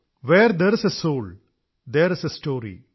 where there is a soul there is a story